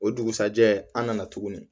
O dugusɛjɛ an nana tuguni